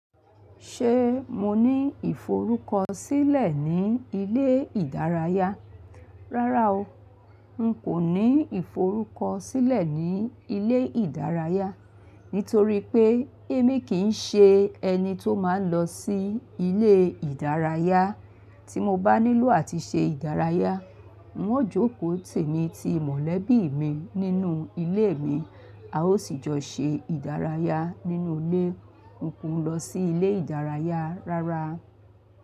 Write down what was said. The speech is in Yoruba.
Ṣé mo ní ìforúkọsílẹ̀ ní ilé ìdárayá? Rárá o, n kò ní ìforúkọsílẹ̀ ní ilé ìdárayá, nítorí pé èmi kì í ṣe ẹni tó máa ń lọ sí ilé ìdárayá. Tí mo bá nílò àti ṣe ìdárayá, n o yóò jókòó tì mí ti mọ̀lẹ́bí mi nínú ilé mi. A ó sì jọ ṣe ìdárayá nínú ilé. N kò ń lọ sí ilé ìdárayá rárá.